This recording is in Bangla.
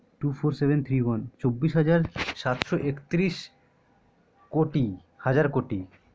two four seven three one চব্বিশ হাজার সাতশো একত্ৰিশ কোটি হাজার কোটি